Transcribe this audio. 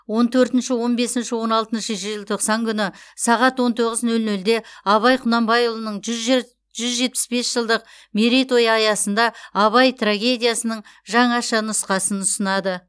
он төртінші он бесінші он алтыншы желтоқсан күні сағат он тоғыз нөл нөлде абай құнанбайұлының жүз же жүз жетпіс бес жылдық мерейтойы аясында абай трагедиясының жаңаша нұсқасын ұсынады